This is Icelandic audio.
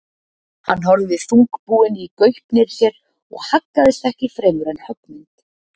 Hann horfði þungbúinn í gaupnir sér og haggaðist ekki fremur en höggmynd.